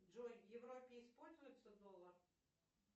джой в европе используется доллар